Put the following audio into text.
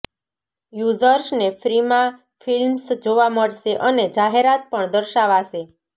યુઝર્સને ફ્રીમાં ફિલ્મ્સ જોવા મળશે અને જાહેરાત પણ દર્શાવાશે